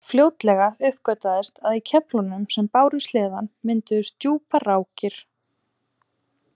Fljótlega uppgötvaðist að í keflunum sem báru sleðann mynduðust djúpar rákir.